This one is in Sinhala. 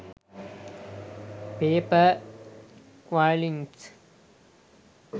paper quillings